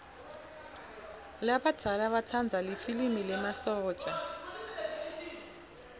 labadzala batsanza lifilimi lemasotja